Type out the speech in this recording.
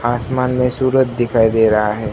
आसमान में सूरज दिखाई दे रहा है।